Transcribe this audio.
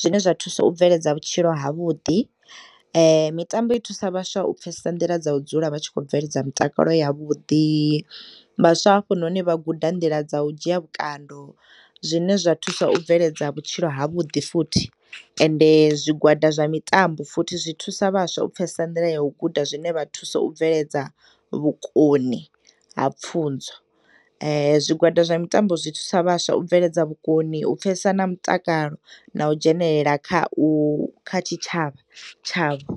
zwine zwathusa u bveledza vhutshilo ha vhuḓi, mitambo ithusa vhaswa u pfesesa nḓila dza udzula vhatshikho bveledza mutakalo ya vhuḓi vhaswa hafhunoni vha guda nḓila dza udzhiya vhukando zwine zwa thusa u bveledza vhutshilo ha vhuḓi futhi ende zwigwada zwa mitambo futhi zwi thusa vhaswa u pfesesa nḓila ya u guda zwine vhathusa u bveledza vhukoni ha pfuzo. Zwigwada zwa mitambo zwithusa vhaswa ubveledza vhukoni upfesesa na mutakalo na udzhenelela kha u, kha tshitshavha tshavho.